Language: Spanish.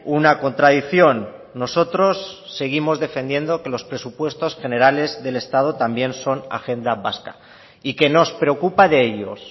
una contradicción nosotros seguimos defendiendo que los presupuestos generales del estado también son agenda vasca y que nos preocupa de ellos